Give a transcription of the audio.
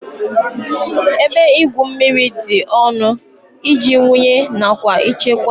Ebe igwu mmiri dị ọnụ iji wụnye nakwa ichekwa